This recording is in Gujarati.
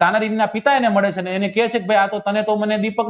ના પિતાને મળે છે અને તો